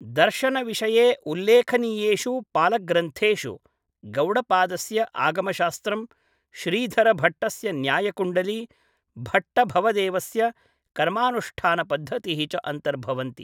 दर्शनविषये उल्लेखनीयेषु पालग्रन्थेषु, गौडपादस्य आगमशास्त्रं, श्रीधरभट्टस्य न्याय कुण्डली, भट्टभवदेवस्य कर्मानुष्ठानपद्धतिः च अन्तर्भवन्ति।